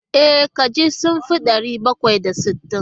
E, kajin sun fi ɗari bakwai da sittin.